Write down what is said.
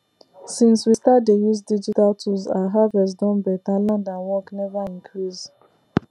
since we start dey use digital tools our harvest don better land and work never increase